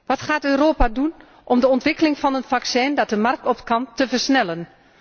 Wat gaat Europa doen om de ontwikkeling van een vaccin dat de markt op kan te versnellen?